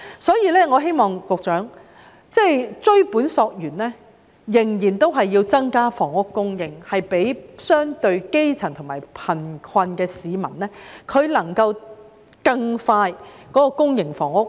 所以，我想告訴局長，追本溯源，必須增加房屋供應，讓相對基層及較貧困的市民更快遷入公營房屋。